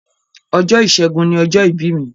Ọjọ́ ìsẹ́gun ni ọjọ́ ìbí mi.